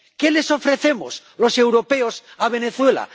¿Qué les ofrecemos los europeos a Venezuela?